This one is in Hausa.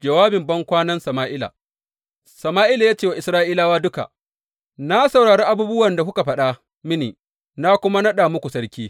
Jawabin bankwanan Sama’ila Sama’ila ya ce wa Isra’ilawa duka, Na saurari abubuwan da kuka faɗa mini, na kuma naɗa muku sarki.